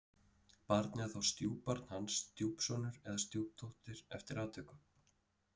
Barnið er þá stjúpbarn hans, stjúpsonur eða stjúpdóttir eftir atvikum.